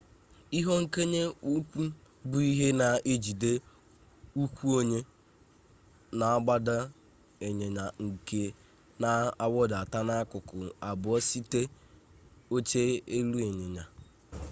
ihe nkonye ụkwụ bụ ihe na-ejide ụkwụ onye na-agba ịnyịnya nke na-awụdata n'akụkụ abụọ site oche elu ịnyịnya